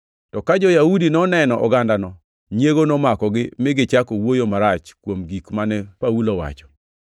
To ka jo-Yahudi noneno ogandano, nyiego nomakogi mi gichako wuoyo marach kuom gik mane Paulo wacho.